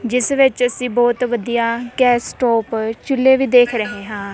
ਜਿਸ ਵਿੱਚ ਅਸੀਂ ਬਹੁਤ ਵਧੀਆ ਗੈਸ ਸਟੋਵ ਚੁੱਲੇ ਵੀ ਦੇਖ ਰਹੇ ਹਾਂ।